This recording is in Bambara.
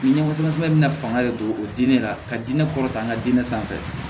Ni ɲɛfɔ sɛbɛ bɛna fanga de don o diinɛ la ka diinɛ kɔrɔta diinɛ sanfɛ